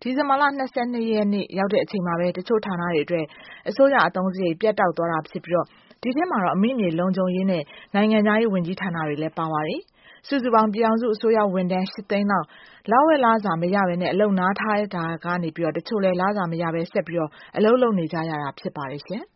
ဒီဇင်ဘာလ ၂၂ ရက်နေ့ ရောက်တဲ့အချိန်မှာပဲ တချို့ ဌာနတွေအတွက် အစိုးရအသုံးစရိတ်တွေ ပြတ်တောက်တာတွေဖြစ်ပြီးတော့ ဒီထဲမှာတော့ အမိမြေလုံခြုံရေးနဲ့ နိုင်ငံခြားရေးဝန်ကြီးဌာနတွေလည်းပါပါတယ်။ စုစုပေါင်းပြည်ထောင်စုအစိုးရဝန်ထမ်း ၈ သိန်းလောက် လဝက်လစာမရပဲနဲ့ အလုပ်နားထားတာကနေပြီးတော့ တချို့လည်း လစာမရပဲဆက်ပြီးတော့ အလုပ်လုပ်နေကြရတာဖြစ်ပါတယ်ရှင့်။